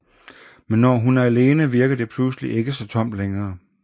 Men når hun er alene virker det pludselig ikke så tomt længere